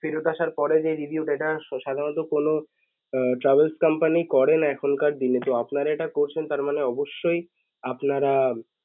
ফেরত আসার পরেও যে review টা এটা স~ সাধারানত কোন আহ travels company করে না এখনকার দিনে যে আপনারা এটা করছেন তারমানে অবশ্যই আপনারা